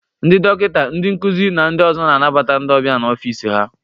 Ndị dọkịta, ndị nkuzi na ndị ọzọ na-anabata ndị ọbịa na ọfịs ha.